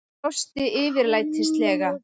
Hann brosti yfirlætislega.